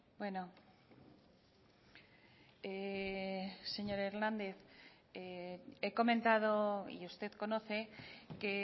bueno señor hernández he comentado y usted conoce que